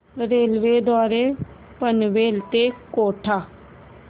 railway द्वारे पनवेल ते कोटा